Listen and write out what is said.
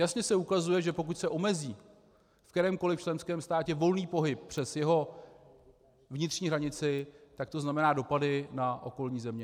Jasně se ukazuje, že pokud se omezí v kterémkoliv členském státě volný pohyb přes jeho vnitřní hranici, tak to znamená dopady na okolní země.